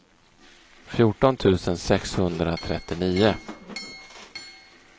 fjorton tusen sexhundratrettionio